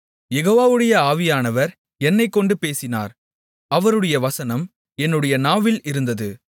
யெகோவாவுடைய ஆவியானவர் என்னைக்கொண்டு பேசினார் அவருடைய வசனம் என்னுடைய நாவில் இருந்தது